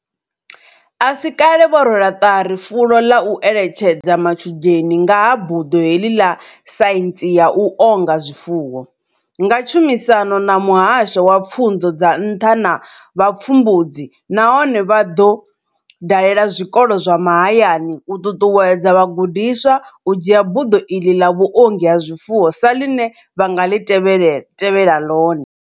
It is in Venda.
A si kale vho rwela ṱari fulo ḽa u eletshedza matshudeni nga ha buḓo heḽi ḽa saintsi ya u onga zwifuwo, nga tshumisano na muhasho wa pfunzo dza nṱha na vhupfumbudzi, nahone vha ḓo dalela zwikolo zwa mahayani u ṱuṱuwedza vha gudiswa u dzhia buḓo iḽi ḽa vhuongi ha zwifuwo sa ḽine vha nga tevhela ḽone.